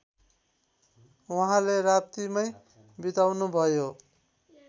उहाँले राप्तीमै बिताउनुभयो